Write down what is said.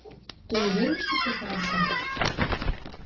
ты уверен что всё хорошо